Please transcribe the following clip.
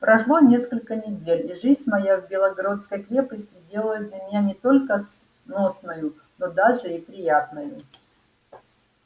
прошло несколько недель и жизнь моя в белогородской крепости сделалась для меня не только сносною но даже и приятною